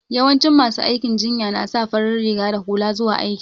Yawancin masu aikin jinya na sa fari riga da hula zuwa aiki.